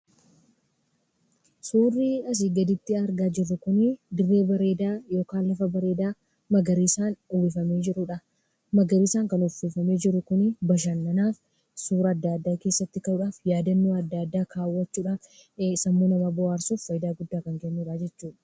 Suurrii asii gaditti argaa jirru kunii dirree bareedaa yookaan lafa bareedaa magariisaan uwwifamee jirudhaa. Magariisaan kan uffifamee jiru kunii bashannanaaf, suura adda addaa keessatti ka'uudhaaf, yaadannoo adda addaa kaawwachuudhaaf, sammuu namaa bohaarsuuf faayidaa guddaa kan kennudhaa jechuudha.